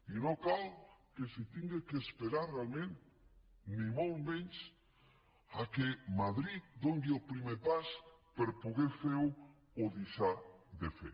i no cal que s’hagi d’esperar realment ni molt menys que madrid doni el primer pas per poder fer o deixar de fer